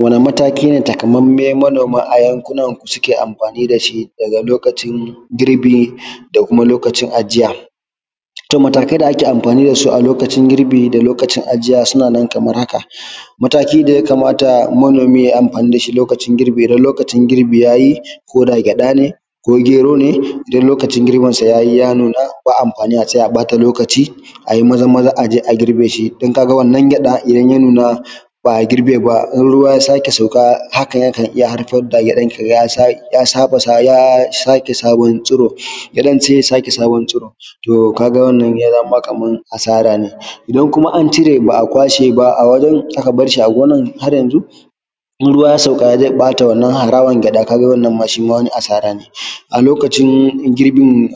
Wani mataki ne takamaimai manoma a yanku nan ku suke amfani da shi daga lokacin girbi da kuma lokacin ajiya? To matakai da ake amfani da su a lokacin girbi da lokacin ajiya suna nan kamar haka, mataki da ya kamata manomi yayi amfani da shi lokacin girbi idan lokacin girbi yayi ko da gyaɗa ne ko gero ne, idan lokacin girbin sa yayi ya nun aba amfani a tsaya a bata lokaci ayi maza-maza aje a girbe shi don ka ga idan wannan gyaɗa idan ya nun aba a girbe ba, idan ruwa ya sake sauka haka yakan haifar da gyaɗan ki ga ya sake sabon tsiro gyaɗan sai ya sake sabon tsiro, to kaga wannan zai zama kaman asara ne, idan kuma an cire ba a kwashe ba a wajen aka barshi a gonan har yanzu idan ruwa ya sauka zai bata wannan harawan gyaɗa kaga wannan shi ma wani asara ne, a lokacin girbin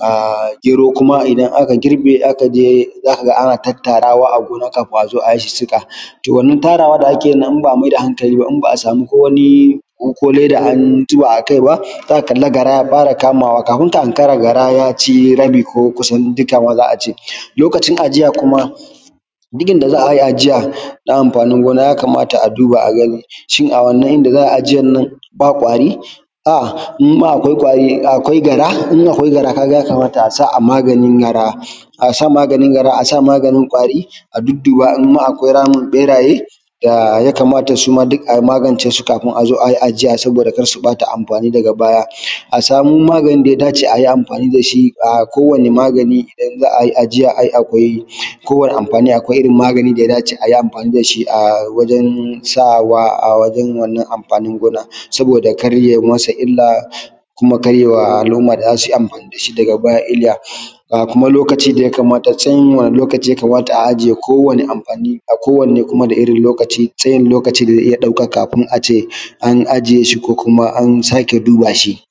gero kuma idan aka girbe aka je zaka ga ana tattarawa a gona kafin a zo ayi sissika, wannan tara da ake yi in ba a maida hankali ba in ba a sami ko wani ko leda an zoɓa a kai ba zaka kali gara ya fara kamawa kafin ka hankara gara ya ci rabi ko kusan dukka za a ce, lokacin ajiya kuma duk inda za a yi ajiya na amfanin gona ya kamata a duba a gani, shin a wannan ida za a yi ajiyan nan ba ƙwari in ma akwai gara ya kamata a sa maganin gara asa maganin gara asa maganin ƙwari a dudduba in ma akwai ramin ɓeraye da ya kamata suma duk ai magance su kafin azo ayi ajiya saboda kada su bata amfani daga baya, a samu maganin da ya dace ayi amfani da shi kowane magani idan za ayi ajiya ayi a hakuri, kowane amfani akwai irin magani da ya dace ayi amfani da shi a wajen sawa a wajen wannan amfanin gona saboda kada yayi masa illa kuma kar ya wa al’umma da zasu amfani da shi daga baya illa, kuma lokaci da ya kamata tun wani lokaci ya kamata a ajiye kowane amfani a kowane da irin lokaci tsayin lokaci da zai iya ɗauka kafin ace an ajiye shi ko kuma an sake duba shi.